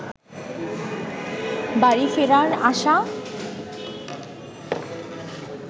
বাড়ি-ফেরার আশা